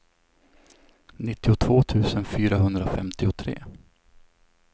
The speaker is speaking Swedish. nittiotvå tusen fyrahundrafemtiotre